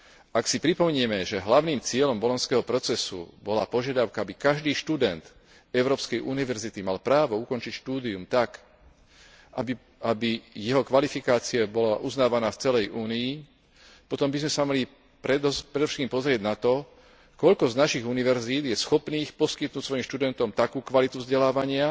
Ak si pripomenieme, že hlavným cieľom bolonského procesu bola požiadavka, aby každý študent európskej univerzity mal právo ukončiť štúdium tak, aby jeho kvalifikácia bola uznávaná v celej Únii, potom by sme sa mali predovšetkým pozrieť na to, koľko z našich univerzít je schopných poskytnúť svojim študentom takú kvalitu vzdelávania,